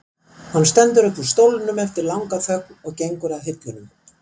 Hann stendur upp úr stólnum eftir langa þögn og gengur að hillunum.